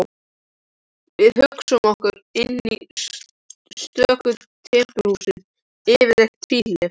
Við hugsuðum okkur inn í stöku timburhús, yfirleitt tvílyft.